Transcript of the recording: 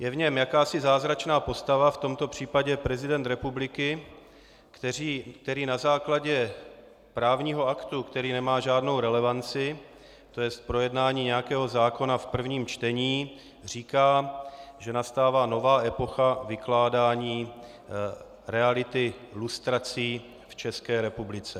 Je v ní jakási zázračná postava, v tomto případě prezident republiky, který na základě právního aktu, který nemá žádnou relevanci, to je projednání nějakého zákona v prvním čtení, říká, že nastává nová epocha vykládání reality lustrací v České republice.